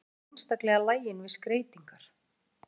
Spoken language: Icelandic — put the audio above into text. Svo er ég líka einstaklega lagin við skreytingar.